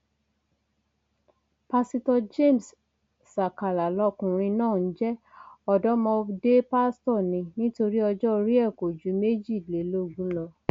pásítọ james sàkàlà lọkùnrin náà ń jẹ ọdọmọdé pásítọ ni nítorí ọjọ orí ẹ kò ju méjìlélógún lọ